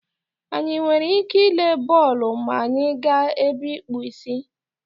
Anyị nwere ike ịle bọọlụ ma anyị gaa ebe ịkpụ ísí?